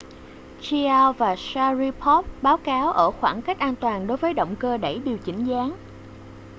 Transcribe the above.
chiao và sharipov báo cáo ở khoảng cách an toàn đối với động cơ đẩy điều chỉnh dáng